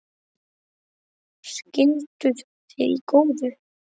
Skilduð þið í góðu?